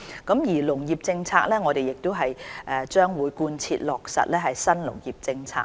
對於農業政策，我們將貫徹落實新農業政策。